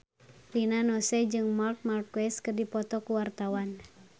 Rina Nose jeung Marc Marquez keur dipoto ku wartawan